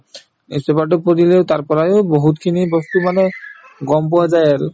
newspaper তো পঢ়িলে তাৰপৰায়ে বহুতখিনি বস্তু মানে গম পোৱা যায় আৰু